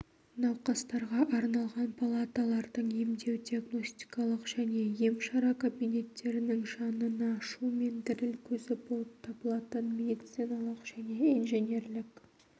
науқастарға арналған палаталардың емдеу-диагностикалық және емшара кабинеттерінің жанына шу мен діріл көзі болып табылатын медициналық және инженерлік